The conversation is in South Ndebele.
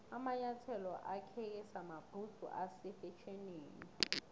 amanyathelo akheke samabhudzu ase fetjhenini